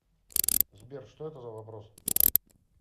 сбер что это за вопрос